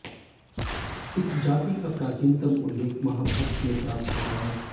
इस जाति का प्राचीनतम उल्लेख महा भारत में प्राप्त होता है